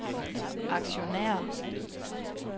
aktionærer